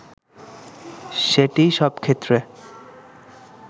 সেটিই সব ক্ষেত্রে